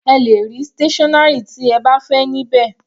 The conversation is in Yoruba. Ẹ lè rí stationary tí ẹ bá fẹ́ ní bẹ́ẹ̀.